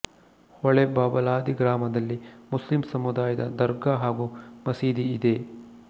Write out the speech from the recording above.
ಹೊಳೆ ಬಬಲಾದಿ ಗ್ರಾಮದಲ್ಲಿ ಮುಸ್ಲಿಂ ಸಮುದಾಯದ ದರ್ಗಾ ಹಾಗೂ ಮಸೀದಿ ಇದೆ